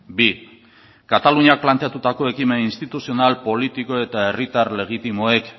bi kataluniak planteatutako ekimen instituzional politiko eta herritar legitimoek